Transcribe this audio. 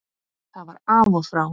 Það var af og frá.